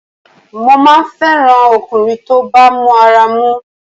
Mo máa ń fẹ́ràn ọkùnrin tó bá mọ ara mú